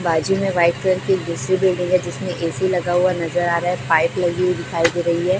बाजू मे white colour की एक बीस्सी दी गई है जिसमे एसी लगा हुआ नजर आ रहा है पाइप लगी हुई दिखाई दे रही है।